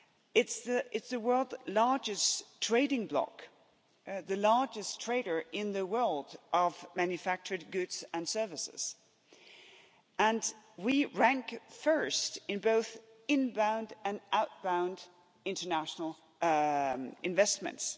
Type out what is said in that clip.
It's the world's largest trading bloc, the largest trader in the world of manufactured goods and services, and we rank first in both inbound and outbound international investments.